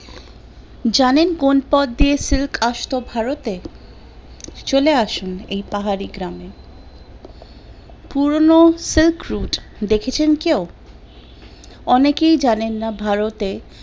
জানেন কোন পদ দিয়ে silk আসতো ভারতে? চলে আসুন এই পাহাড়ি গ্রামে, পুরনো silk route দেখেছেন কেউ? অনেকেই জানেন না ভারতে